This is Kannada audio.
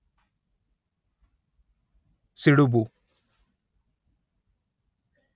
ಸಿಡುಬು